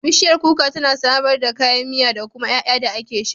Bishiyar kuka tana samar da kayan miya da kuma ƴaƴa da ake sha.